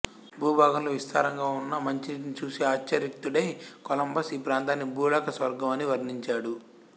భూభాగంలో విస్తారంగా ఉన్న మంచినీటిని చూసి ఆశ్చర్యచకితుడై కొలంబస్ ఈప్రాంతాన్ని భూలోక స్వర్గం అని వర్ణించాడు